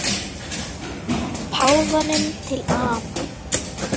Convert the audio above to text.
Páfanum til ama.